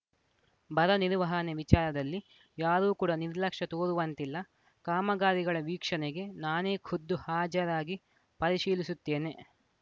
ಬರ ನಿರ್ವಹಣೆ ವಿಚಾರದಲ್ಲಿ ಯಾರೂ ಕೂಡ ನಿರ್ಲಕ್ಷ್ಯ ತೋರುವಂತಿಲ್ಲ ಕಾಮಗಾರಿಗಳ ವೀಕ್ಷಣೆಗೆ ನಾನೇ ಖುದ್ದು ಹಾಜರಾಗಿ ಪರಿಶೀಲಿಸುತ್ತೇನೆ